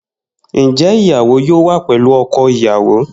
Njẹ ìyàwó yóò wà pẹlú ọkọ ìyàwó?